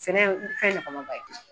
Sɛnɛ fɛn nafama ba ye.